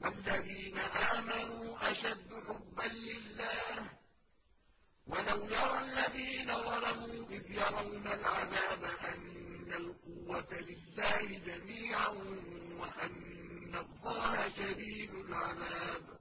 وَالَّذِينَ آمَنُوا أَشَدُّ حُبًّا لِّلَّهِ ۗ وَلَوْ يَرَى الَّذِينَ ظَلَمُوا إِذْ يَرَوْنَ الْعَذَابَ أَنَّ الْقُوَّةَ لِلَّهِ جَمِيعًا وَأَنَّ اللَّهَ شَدِيدُ الْعَذَابِ